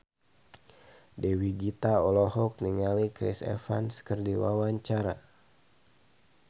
Dewi Gita olohok ningali Chris Evans keur diwawancara